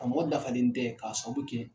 A mɔgɔ dafalen tɛ k'a sababu kɛ